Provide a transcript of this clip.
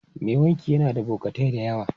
Mai wanki yana da bokatai da yawa.